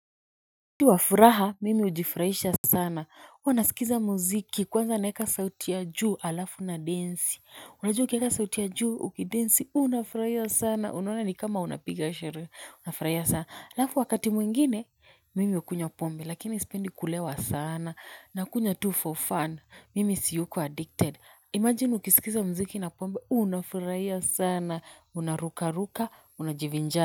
Ni wafuraha mimi ujifraisha sana uwa nasikiza muziki kwanza naeka sauti ya juu alafu nadensi unajua ukieka sauti ya juu ukidensi unafuraia sana unaona ni kama unapiga sheree unafuraia sana alafu wakati mwingine mimi ukunywa pombe lakini sependi kulewa sana nakunywa tu for fun mimi siyuko addicted imagine ukisikiza muziki na pombe unafuraia sana unarukaruka unajivinja.